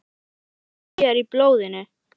Nokkuð af því er í blóðinu.